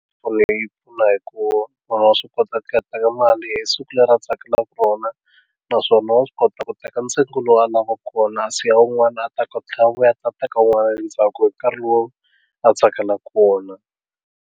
Onge yi pfuna hi ku munhu wa swi kota ku teka mali hi siku leri a tsakelaka rona naswona wa swi kota ku teka ntsengo lowu a lavaku wona a siya wun'wana a ta ku tlhela a vuya a teka un'wana endzhaku hi nkarhi lowu a tsakelaku wona.